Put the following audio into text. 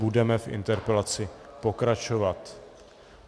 Budeme v interpelaci pokračovat.